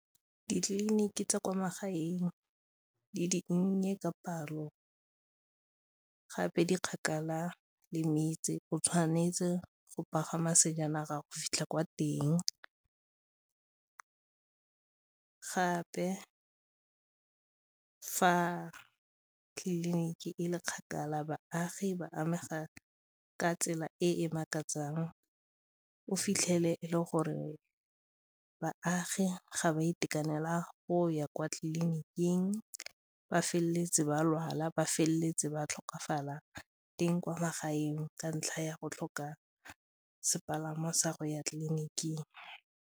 Ditleliniki tsa kwa magaeng di dinnye ka palo gape di kgakala le metse, o tshwanetse go pagama sejanaga go fitlha kwa teng gape fa tleliniki e le kgakala baagi ba amega ka tsela e e makatsang, o fitlhele e le gore baagi ga ba itekanela go ya kwa tleliniking, ba feleletse ba lwala, ba feleletse ba tlhokafala teng kwa magaeng ka ntlha ya go tlhoka sepalangwa sa go ya tleliniking.